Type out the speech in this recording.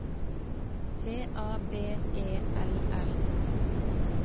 T A B E L L